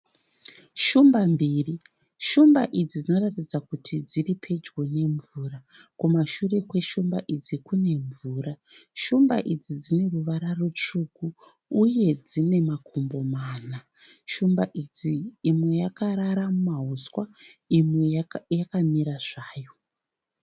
Shumba mbiri. Shumba idzi dzinoratidza kuti dziri pedyo nemvura. Kumashure kweshumba idzi kune mvura. Shumba idzi dzine ruvara rutsvuku uye dzine makumbo mana. Shumba idzi imwe yakarara mumahuswa imwe yakamira zvayo.